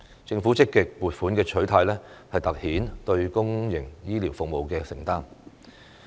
政府積極撥款的取態，凸顯了對公營醫療服務的承擔。